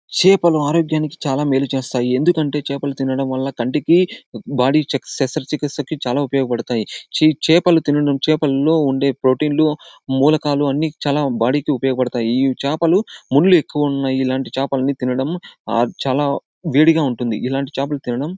చేపలు ఆరోగ్యానికి చాలా మేలు చేస్తాయి. ఎందుకంటే చేపలు తినడం వల్ల కంటికి బాడీ చెక్ శస్త్ర చికిత్సకి చాలా ఉపయోగపడతాయి. చీ ఈ చేపలు తినడం చేపలు లో ఉండే ప్రోటీన్ లు మూలకాలు అన్ని చాలా బాడీ కి ఉపయోగపడతాయి. ఈ చేపలు ముళ్ళు ఎక్కువున్న ఇలాంటి చేపలు తినడం చాలా వేడిగా ఉంటుంది. ఇలాంటి చేపలు తినడం--